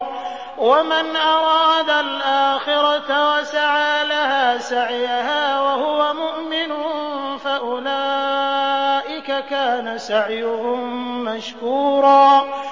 وَمَنْ أَرَادَ الْآخِرَةَ وَسَعَىٰ لَهَا سَعْيَهَا وَهُوَ مُؤْمِنٌ فَأُولَٰئِكَ كَانَ سَعْيُهُم مَّشْكُورًا